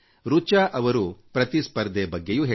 ರಿಚಾ ಜೀ ಅವರು ಪ್ರತಿಸ್ಪರ್ಧೆ ಬಗ್ಗೆಯೂ ಹೇಳಿದ್ದಾರೆ